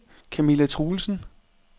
Camilla Truelsen